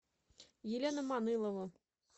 елена манылова